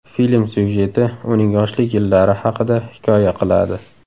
Film syujeti uning yoshlik yillari haqida hikoya qiladi.